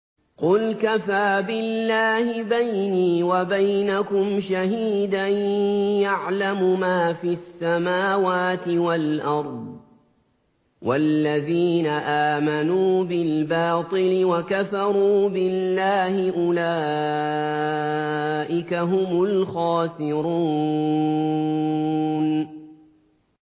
قُلْ كَفَىٰ بِاللَّهِ بَيْنِي وَبَيْنَكُمْ شَهِيدًا ۖ يَعْلَمُ مَا فِي السَّمَاوَاتِ وَالْأَرْضِ ۗ وَالَّذِينَ آمَنُوا بِالْبَاطِلِ وَكَفَرُوا بِاللَّهِ أُولَٰئِكَ هُمُ الْخَاسِرُونَ